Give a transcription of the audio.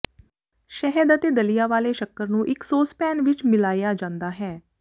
ਸ਼ਹਿਦ ਅਤੇ ਦਲੀਆ ਵਾਲੇ ਸ਼ੱਕਰ ਨੂੰ ਇੱਕ ਸੌਸਪੈਨ ਵਿੱਚ ਮਿਲਾਇਆ ਜਾਂਦਾ ਹੈ